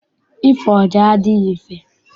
Ịfụ ọja adịghị mfe.